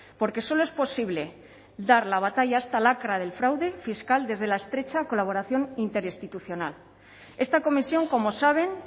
porque solo es posible dar la batalla a esta lacra del fraude fiscal desde la estrecha colaboración interinstitucional esta comisión como saben